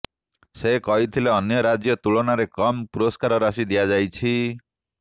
ସେ କହିଥିଲେ ଅନ୍ୟ ରାଜ୍ୟ ତୁଳନାରେ କମ୍ ପୁରସ୍କାର ରାଶି ଦିଆଯାଇଛି